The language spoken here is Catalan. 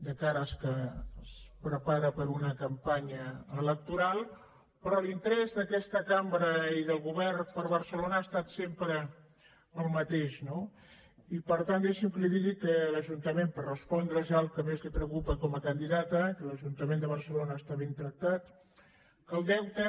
de cara que es prepara per a una campanya electoral però l’interès d’aquesta cambra i del govern per barcelona ha estat sempre el mateix no i per tant deixi’m que li digui per respondre ja al que més la preocupa com a candidata que l’ajuntament de barcelona està ben tractat que el deute